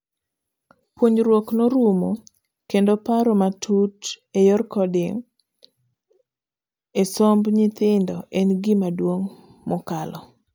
Puonjruok norumo kendo paro matut eyor coding esomb nyithindo en gima duong' mokalo.